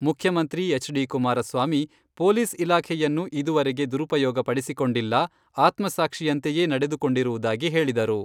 ಮುಖ್ಯಮಂತ್ರಿ ಎಚ್.ಡಿ.ಕುಮಾರಸ್ವಾಮಿ, "ಪೋಲಿಸ್ ಇಲಾಖೆಯನ್ನು ಇದುವರೆಗೆ ದುರುಪಯೋಗ ಪಡಿಸಿಕೊಂಡಿಲ್ಲ , ಆತ್ಮಸಾಕ್ಷಿಯಂತೆಯೇ ನಡೆದುಕೊಂಡಿರುವುದಾಗಿ ಹೇಳಿದರು.